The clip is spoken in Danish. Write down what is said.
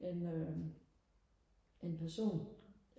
en øh en person